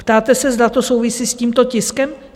Ptáte se, zda to souvisí s tímto tiskem?